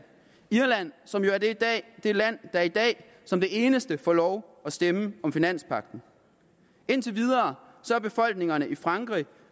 irland som jo er det land der i dag som det eneste får lov at stemme om finanspagten indtil videre har befolkningerne i frankrig